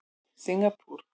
Singapúr